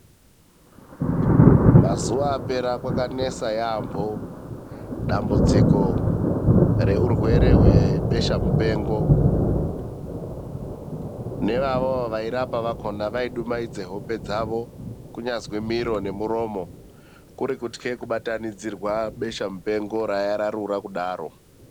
Mazuva apera kwakanesa yaampho dambudziko reurwere hwebesha mupengo neivavo vairapa vakhona vaidumaidza hope dzavo, kunyazi miro nemiromo kuri kutyha kubatanidzirwa besha mupengo raiya rarura kudaro.